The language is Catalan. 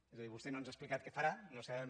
és a dir vostè no ens ha explicat què farà no ho sabem